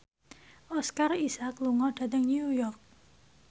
Oscar Isaac lunga dhateng New York